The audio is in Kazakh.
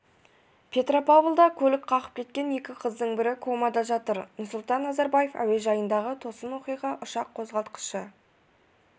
петропавлда көлік қағып кеткен екі қыздың бірі комада жатыр нұрсұлтан назарбаев әуежайындағы тосын оқиға ұшақ қозғалтқышы